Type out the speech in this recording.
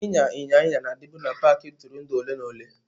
Ịnya ịnyịnya na-adịbu na paaki ntụrụndụ ole na ole.